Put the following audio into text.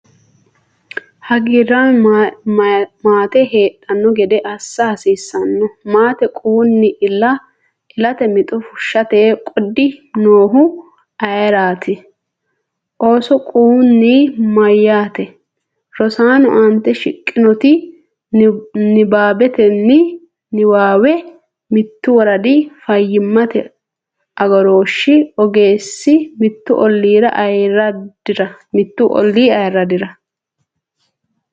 Hagiirraame maate heedhanno gede assa hasiissanno? Maate quwunni ilate mixo fushshate qoodi noohu ayeraati? Ooso quwunni mayyaate? [Rosaano aante shiqqinoti nabbanbanni niwaawe mittu woradi fayyimmate agarooshshi ogeessi mittu olliira ayiddira?